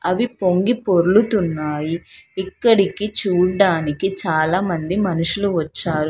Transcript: అవి పొంగిపొర్లుతున్నాయి. ఇక్కడికి చూడ్డానికి చాలామంది మనుషులు వచ్చారు.